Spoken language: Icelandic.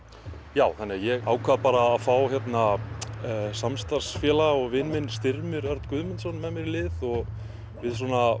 já þannig að ég ákvað bara að fá samstarfsfélaga og vin minn Styrmi Örn Guðmundsson með mér í lið og við svona